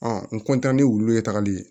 n ni wulu ye tagali ye